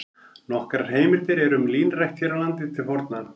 Nokkrar heimildir eru um línrækt hér á landi til forna.